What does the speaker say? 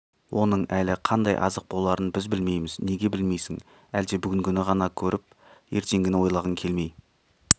оның әлі қандай азық боларын біз білмейміз неге білмейсің әлде бүгінгіні ғана көріп ертеңгіні ойлағың келмей